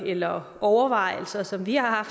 eller overvejelser som vi har